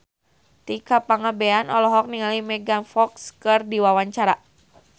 Tika Pangabean olohok ningali Megan Fox keur diwawancara